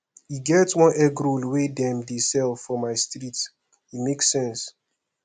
e get one egg roll wey dem dey sell for my street e make sense